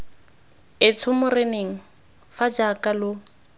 etsho moreneng fa jaaka lo